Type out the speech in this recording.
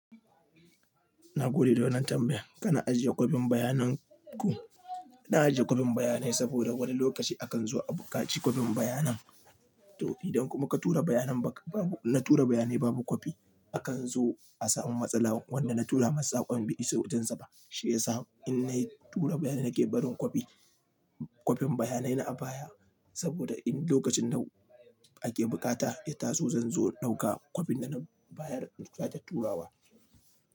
Na gode da wannan tambayan kana ajiye kwalban bayanan ku? Na ajiye kwafin bayanai saboda wani lokaci akan zo a buƙaci kwalban bayanan. To idan kuma ka tura bayanai na tura bayanai babu kwafi, akan zo a samu matsala. Wanda na tura masa saƙon, bai isa wajensa ba. Shi ya sa in na tura bayanai nake barin copy, copy bayanai na a baya. Saboda in lokacin nau ake bukata, ya taso zan zo in ɗauka copy da na bayar sake turawa.